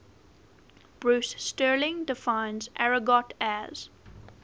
bruce sterling defines argot as